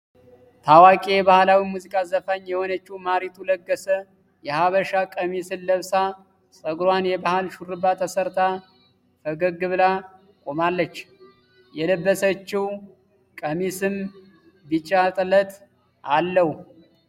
ታዋቂ የባህላዊ ሙዚቃ ዘፋኝ የሆነችው ማሪቱ ለገሰ የሃበሻ ቀሚስን ለብሳ ጸጉሯን የባህል ሹሩባ ተሰርታ ፈገግ ብላ ቆማለች። የለበሰችው ቀሚስም ቢጫ ጥለት አለው።